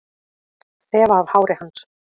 Þefa af hári hans.